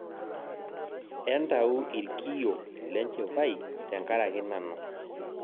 Entau irkiio lenjipai tenkaraki nanu